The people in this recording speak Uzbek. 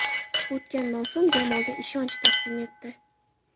O‘tgan mavsum jamoaga ishonch taqdim etdi.